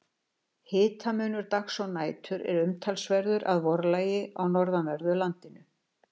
Hitamunur dags og nætur er umtalsverður að vorlagi í norðanverðu landinu.